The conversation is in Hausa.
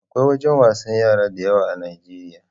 Akwai wajan wasan yara da yawa a Nijeriya